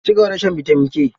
Ci gaba da shan bitamin K.